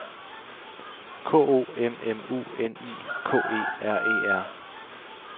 K O M M U N I K E R E R